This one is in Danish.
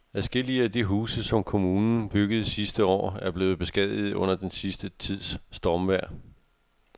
Adskillige af de huse, som kommunen byggede sidste år, er blevet beskadiget under den sidste tids stormvejr.